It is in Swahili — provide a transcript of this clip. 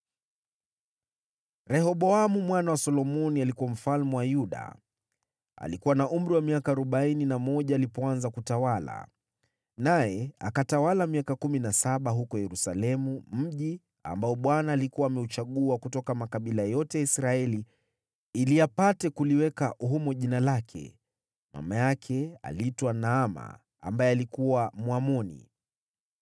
Rehoboamu mwana wa Solomoni alikuwa mfalme wa Yuda. Alikuwa na umri wa miaka arobaini na moja alipoanza kutawala, naye akatawala miaka kumi na saba huko Yerusalemu, mji ambao Bwana alikuwa ameuchagua kutoka makabila yote ya Israeli ili apate kuliweka humo Jina lake. Mama yake aliitwa Naama, ambaye alikuwa Mwamoni.